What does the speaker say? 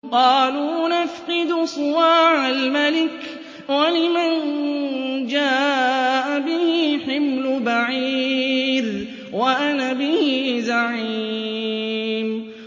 قَالُوا نَفْقِدُ صُوَاعَ الْمَلِكِ وَلِمَن جَاءَ بِهِ حِمْلُ بَعِيرٍ وَأَنَا بِهِ زَعِيمٌ